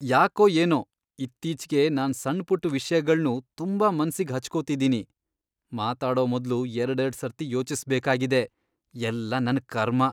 ಯಾಕೋ ಏನೋ ಇತ್ತೀಚ್ಗೆ ನಾನ್ ಸಣ್ಪುಟ್ ವಿಷ್ಯಗಳ್ನೂ ತುಂಬಾ ಮನ್ಸಿಗ್ ಹಚ್ಕೊತಿದೀನಿ, ಮಾತಾಡೋ ಮೊದ್ಲು ಎರ್ಡೆರ್ಡ್ ಸರ್ತಿ ಯೋಚಿಸ್ಬೇಕಾಗಿದೆ, ಎಲ್ಲ ನನ್ ಕರ್ಮ.